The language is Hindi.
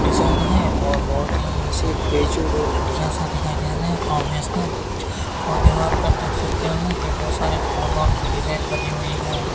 डिजाइन है और बहोत ही ऐसे ही कैजुअल और बढ़िया सा दिखाई दे रा है प्रोफेशनल और दीवार पे आप देख सकते है कि बहोत सारे फूलो की डिजाइन बनी हुई है।